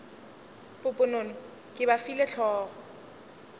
poponono ke ba file hlogo